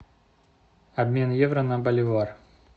обмен евро на боливар